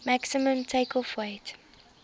maximum takeoff weight